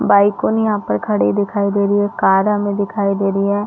बाइकोन यहाँ पर खड़ी दिखाई दे रही है कार हमें दिखाई दे रही है।